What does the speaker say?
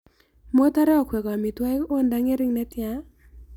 Motare okwek amitwogik akot nda ng'ering' netyaa?